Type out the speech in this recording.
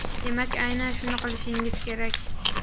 demak aynan shuni qilishingiz kerak.